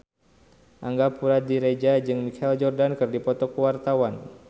Angga Puradiredja jeung Michael Jordan keur dipoto ku wartawan